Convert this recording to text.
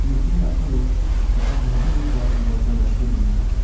nokni a·palo chakka sambrigipa bolsa gariko donenga.